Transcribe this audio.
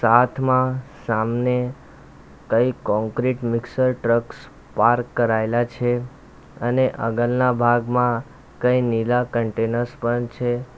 આથમાં સામને કઈ concrete mixer trucks park કરાઇલા છે અને આગળના ભાગમાં કઈ નીલા કન્ટેનર્સ પણ છે.